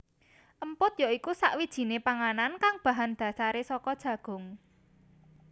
Emput ya iku sakwijiné panganan kang bahan dasaré saka jagung